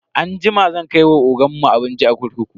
Anjima zan kai wa ogan mu abinci a kurkuku.